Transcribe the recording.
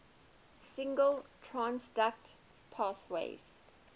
signal transduction pathways